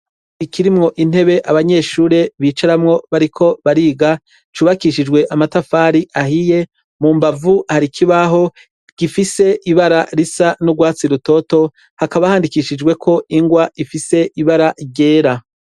Ikirimwo intebe abanyeshure bicaramwo bariko bariga cubakishijwe amatafari ahiye, mu mbavu hari ikibaho gifise ibara risa n'urwatsi rutoto hakaba handikishijweko ingwa ifise ibara ryera.